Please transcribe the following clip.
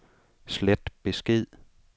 slet besked